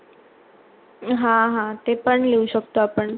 हा हा ते पण लिहू शकतो आपण